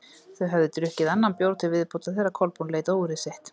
Þau höfðu drukkið annan bjór til viðbótar þegar Kolbrún leit á úrið sitt.